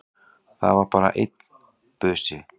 Það var bara einn busi!